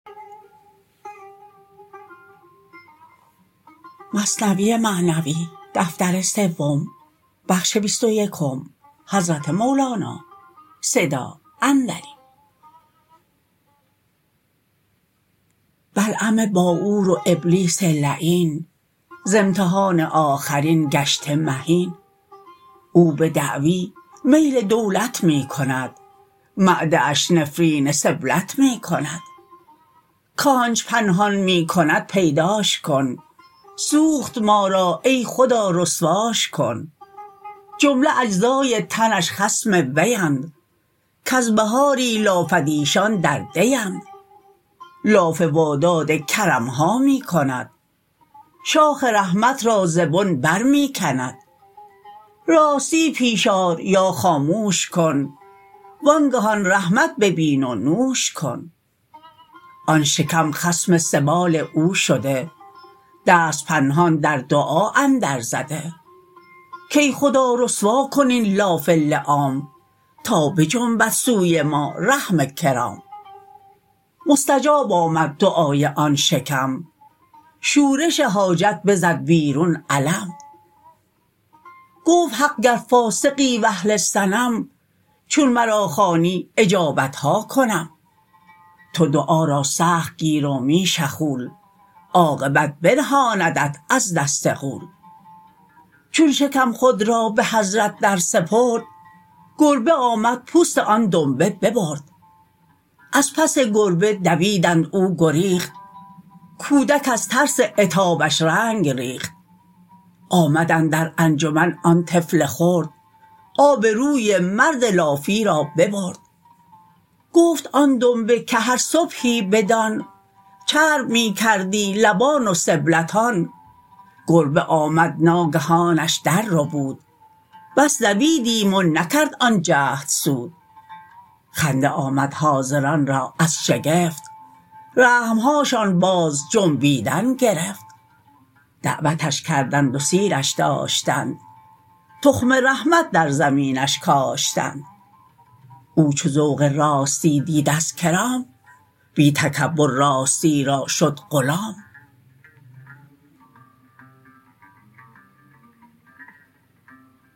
بلعم باعور و ابلیس لعین ز امتحان آخرین گشته مهین او بدعوی میل دولت می کند معده اش نفرین سبلت می کند کانچ پنهان می کند پیداش کن سوخت ما را ای خدا رسواش کن جمله اجزای تنش خصم ویند کز بهاری لافد ایشان در دیند لاف وا داد کرمها می کند شاخ رحمت را ز بن بر می کند راستی پیش آر یا خاموش کن وانگهان رحمت ببین و نوش کن آن شکم خصم سبال او شده دست پنهان در دعا اندر زده کای خدا رسوا کن این لاف لیام تا بجنبد سوی ما رحم کرام مستجاب آمد دعای آن شکم شورش حاجت بزد بیرون علم گفت حق گر فاسقی و اهل صنم چون مرا خوانی اجابتها کنم تو دعا را سخت گیر و می شخول عاقبت برهاندت از دست غول چون شکم خود را به حضرت در سپرد گربه آمد پوست آن دنبه ببرد از پس گربه دویدند او گریخت کودک از ترس عتابش رنگ ریخت آمد اندر انجمن آن طفل خرد آب روی مرد لافی را ببرد گفت آن دنبه که هر صبحی بدان چرب می کردی لبان و سبلتان گربه آمد ناگهانش در ربود بس دویدیم و نکرد آن جهد سود خنده آمد حاضران را از شگفت رحمهاشان باز جنبیدن گرفت دعوتش کردند و سیرش داشتند تخم رحمت در زمینش کاشتند او چو ذوق راستی دید از کرام بی تکبر راستی را شد غلام